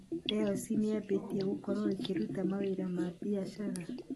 dayosi nĩyambĩtie gũkorwo ĩkĩruta mawĩra ma biacara